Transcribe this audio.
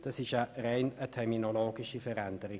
Es handelt sich um eine rein terminologische Veränderung.